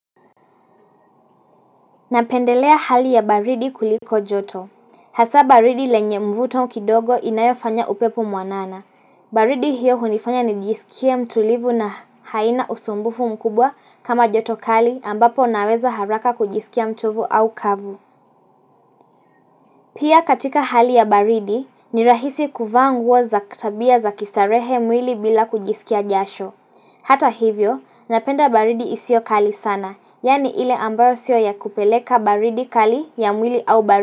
Napendelea hali ya baridi kuliko joto. Hasa baridi lenye mvuto kidogo inayofanya upepo mwanana. Baridi hiyo hunifanya nijisikie mtulivu na haina usumbufu mkubwa kama joto kali ambapo naweza haraka kujisikia mchovu au kavu. Pia katika hali ya baridi, ni rahisi kuvaa nguo za tabia za kistarehe mwili bila kujisikia jasho. Hata hivyo, napenda baridi isiyo kali sana, yaani ile ambayo siyo ya kupeleka baridi kali ya mwili au baridi.